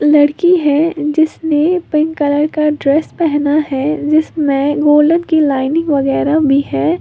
लड़की है जिसने पिंक कलर का ड्रेस पहना है। जिसमें गोल्डन की लाइनिंग वगैरा भी है।